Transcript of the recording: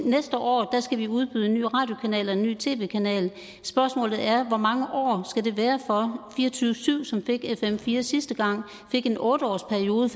næste år skal vi udbyde en ny radiokanal og en ny tv kanal spørgsmålet er hvor mange år skal være for fire og tyve syv som fik fm fire sidste gang fik en otte årsperiode